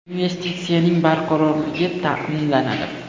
Investitsiyaning barqarorligi ta’minlanadi.